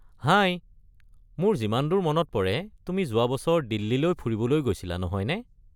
হাই, মোৰ যিমান দূৰ মনত পৰে তুমি যোৱা বছৰ দিল্লীলৈ ফুৰিবলৈ গৈছিলা, নহয়নে?